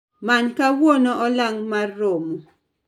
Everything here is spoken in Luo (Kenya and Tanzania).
Many kawuono olang' mar romo